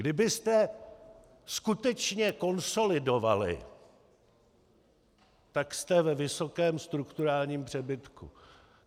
Kdybyste skutečně konsolidovali, tak jste ve vysokém strukturálním přebytku.